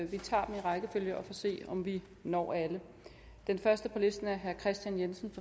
vi tager dem i rækkefølge og får at se om vi når alle den første på listen er herre kristian jensen